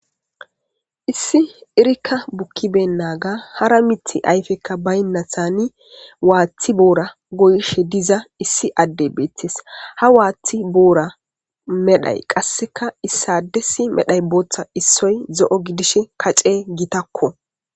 issi irikka bukkiben naaga hara mithi ayfekka baynnathani waaththi boora goyishe diza issi adde beetes ha waaththi boora medhay qasseka issade si medhay booththa issoy zo7o gidishe kace gitakko